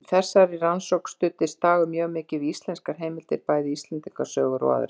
Í þessari rannsókn studdist Dagur mjög mikið við íslenskar heimildir, bæði Íslendingasögur og aðrar.